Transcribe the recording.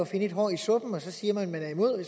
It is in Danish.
finde et hår i suppen og så siger man man er imod og